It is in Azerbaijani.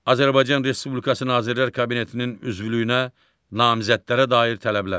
Azərbaycan Respublikası Nazirlər Kabinetinin üzvlüyünə namizədlərə dair tələblər.